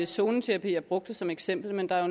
zoneterapi jeg brugte som eksempel men der er